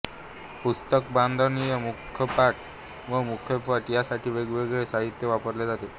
पुस्तकबांधणीत मुखपृष्ठ व मलपृष्ठ यासाठी वेगवेगळे साहित्य वापरले जाते